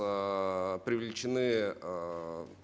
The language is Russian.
аа привлечены аа